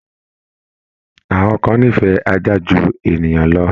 Àwọn kan nífẹ̀ẹ́ ajá ju ènìyàn lọ